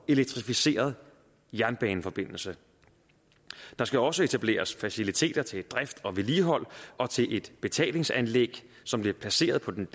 elektrificeret jernbaneforbindelse der skal også etableres faciliteter til drift og vedligehold og til et betalingsanlæg som bliver placeret på den